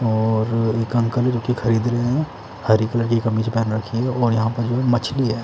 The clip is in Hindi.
औरअ एक अंकल जो की खरीदने रहे हैं हरी कलर की कमीच पहन रखी और यहाँ पे जो है मछली है।